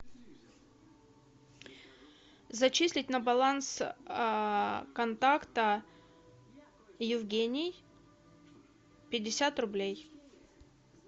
зачислить на баланс контакта евгений пятьдесят рублей